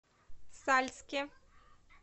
сальске